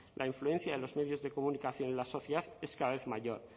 la influencia de los medios de comunicación en la sociedad es cada vez mayor